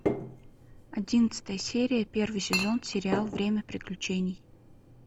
одиннадцатая серия первый сезон сериал время приключений